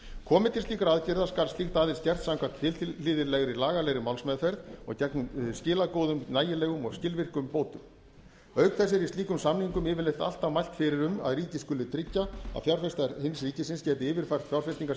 komi til slíkra aðgerða skal skylduaðild gert samkvæmt tilhlýðilegri lagalegri málsmeðferð og gegnum skilagóðum nægilegum og skilvirkum bótum auk þess er í slíkum samningum yfirleitt alltaf mælt fyrir um að ríkið skuli tryggja að fjárfestar hins ríkisins geti yfirfært fjárfestingar